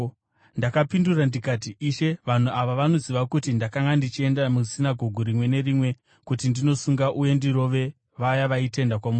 “Ndakapindura ndikati, ‘Ishe, vanhu ava vanoziva kuti ndakanga ndichienda musinagoge rimwe nerimwe kuti ndinosunga uye ndirove vaya vaitenda kwamuri.